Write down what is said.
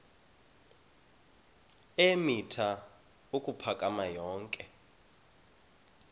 eemitha ukuphakama yonke